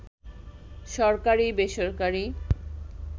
সরকারি-বেসরকারি